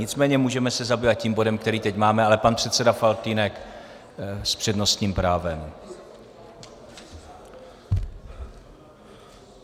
Nicméně můžeme se zabývat tím bodem, který teď máme, ale pan předseda Faltýnek s přednostním právem.